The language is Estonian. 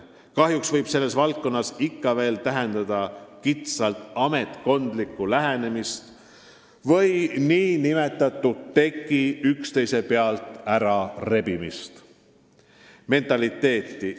Kahjuks võib selles valdkonnas ikka veel täheldada kitsalt ametkondlikku lähenemist ja nn teki üksteise pealt ära rebimise mentaliteeti.